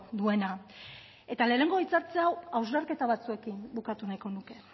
duena eta lehenengo hitzartze hau hausnarketa batzuekin bukatu nahiko nuke